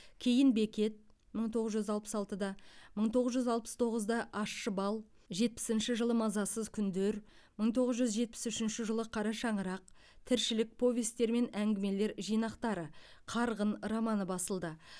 кейін бекет мың тоғыз жүз алпыс алтыда мың тоғыз жүз алпыс тоғызда ащы бал жетпісінші жылы мазасыз күндер мың тоғыз жүз жетпіс үшінші жылы қара шаңырақ тіршілік повестер мен әңгімелер жинақтары қарғын романы басылды